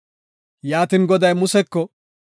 Yaatin Goday Museko,